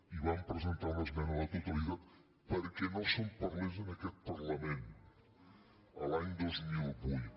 i van presentar una esmena a la totalitat perquè no se’n parlés en aquest parlament l’any dos mil vuit